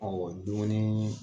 Ɔwɔ dumuni